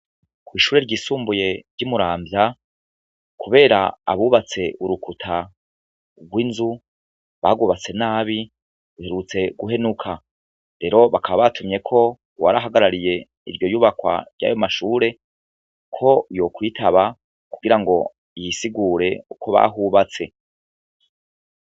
Kwishure ryisumbuye ry' imuramvya kubera abubatse urukuta gw' inzu bagwubatse nabi ruherutse guhenuka rero bakaba batumyeko uwarahagarariye iryo nyubakwa ryayo mashure ko yokwitaba kugira ngo y'isigure uko bahubatse.